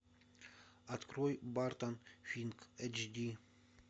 открой бартон финк эйч ди